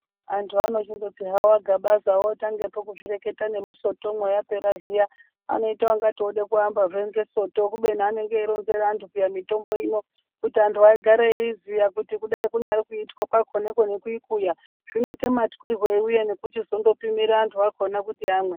Vantu vanochimboti havo aGabaza vakutanga kuzvireketa nemusoto yapera zviya inoita kunge Yoda kuamba nesoto kubeni anenge eironzera antu mutombo ino kuti antu agare eiziva kuti kuramba veiziva Iko nekuikuwa zvinoita matwirei uye nekuzopimirwei kuti vantu vakona vamwe.